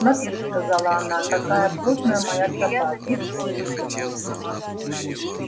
смотри сказала она какая плотная моя тропа тут все люди ходят